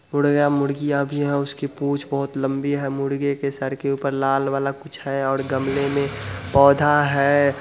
मुर्गे मुर्गिया भी है उसकी पूंछ बहुत लम्बी है मुर्गी के सर के ऊपर लाल वाला कुछ है और गमले में पौधा है।